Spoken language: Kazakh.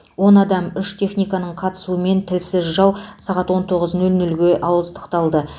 он адам үш техниканың қатысуымен тілсіз жау сағат он тоғыз нөл нөлге ауыздықталды